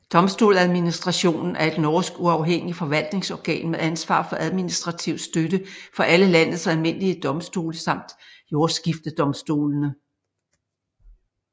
Domstoladministrationen er et norsk uafhængig forvaltningsorgan med ansvar for administrativ støtte for alle landets almindelige domstole samt jordskiftedomstolene